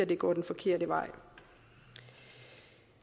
det går den forkerte vej